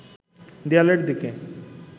দেয়ালের দিকে